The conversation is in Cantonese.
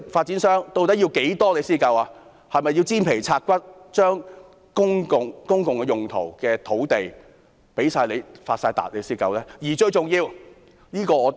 他們是否要"煎皮拆骨"，把公共用途的土地全部用來發達才滿足呢？